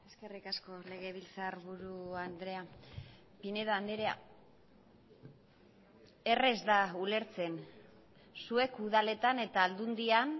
eskerrik asko legebiltzarburu andrea pinedo andrea errez da ulertzen zuek udaletan eta aldundian